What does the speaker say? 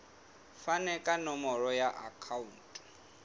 fane ka nomoro ya akhauntu